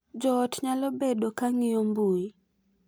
Jo ot nyalo bedo ka ng’iyo mbui